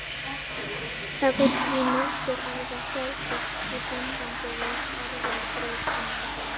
Það er því margs að gæta í sambandi við erfðabreytingar.